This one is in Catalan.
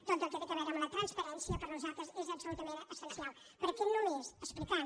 tot el que té a veure amb la transparència per nosal tres és absolutament essencial perquè només explicant